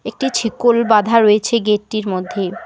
একটি ছিকল বাঁধা রয়েছে গেট -টির মধ্যে।